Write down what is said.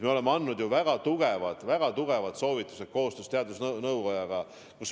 Me oleme andnud väga tungivad soovitused koostöös teadusnõukojaga.